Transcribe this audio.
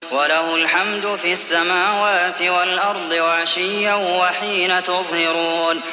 وَلَهُ الْحَمْدُ فِي السَّمَاوَاتِ وَالْأَرْضِ وَعَشِيًّا وَحِينَ تُظْهِرُونَ